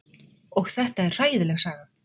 Og þetta er hræðileg saga.